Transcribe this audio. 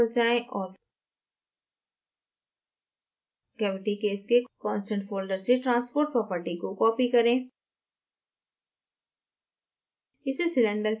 दो स्तर तक वापस जाएँ और cavity case के constant folder से transport property को copy करें